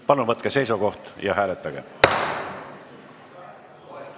Palun võtke seisukoht ja hääletage!